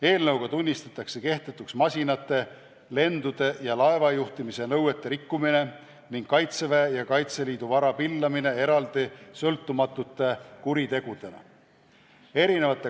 Eelnõuga tunnistatakse kehtetuks masinate, lendude ja laevajuhtimise nõuete rikkumine ning Kaitseväe ja Kaitseliidu vara pillamine eraldi, sõltumatute kuritegudena.